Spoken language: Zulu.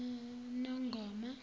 nongoma